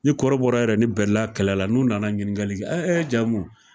Ni kɔrɔbɔrɔ yɛrɛ ni bɛɛla kɛlɛla n'u nana ɲininkali kɛ ɛ ɛ jamu